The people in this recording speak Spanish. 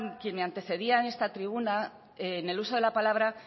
quien me antecedía en esta tribuna en el uso de la palabra